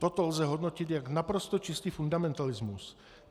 Toto lze hodnotit jako naprosto čistý fundamentalismus.